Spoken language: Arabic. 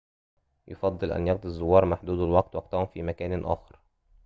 يُفضل أن يقضي الزوّار محدودو الوقت وقتَهم في مكان آخر